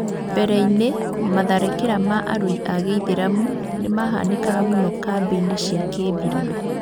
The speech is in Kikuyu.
Mbere-inĩ matharĩkĩra ma arũi a gĩithĩramu nĩmahanĩkaga mũno kambĩ-inĩ cia kĩmbirarũ